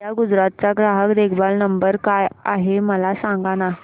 idea Gujarat चा ग्राहक देखभाल नंबर काय आहे मला सांगाना